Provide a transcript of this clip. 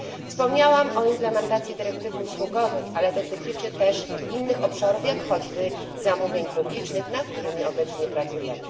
Wspomniałam o implementacji dyrektywy usługowej, ale to dotyczy też innych obszarów, jak choćby zamówień publicznych, nad którymi obecnie pracujemy.